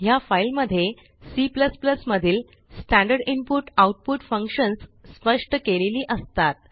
ह्या फाईलमध्ये C मधील स्टँडर्ड इनपुट आउटपुट फंक्शन्स स्पष्ट केलेली असतात